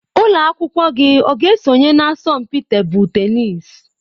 Ụlọ akwụkwọ gị ọ ga-esonye na asọmpi tebụl tenisi?